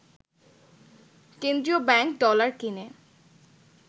কেন্দ্রীয় bank dollar কিনে